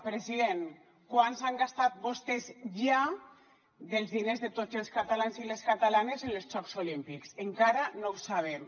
president quant han gastat vostès ja dels diners de tots els catalans i les catalanes en els jocs olímpics encara no ho sabem